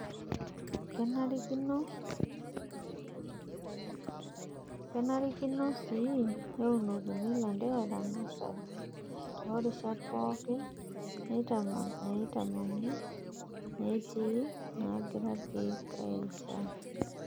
Kenarikino sii neunokini ilanterera nasari toorishat pooki neitamani netii nagira nkiek airishaa.